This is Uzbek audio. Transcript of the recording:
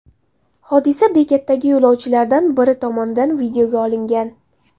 Hodisa bekatdagi yo‘lovchilardan biri tomonidan videoga olingan.